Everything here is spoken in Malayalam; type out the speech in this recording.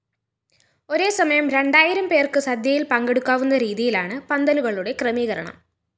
ഒരേസമയം രണ്ടായിരം പേര്‍ക്ക് സദ്യയില്‍ പങ്കെടുക്കാവുന്ന രീതിയിലാണ് പന്തലുകളുകളുടെ ക്രമീകരണം